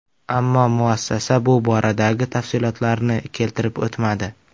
Ammo muassasa bu boradagi tafsilotlarni keltirib o‘tmadi.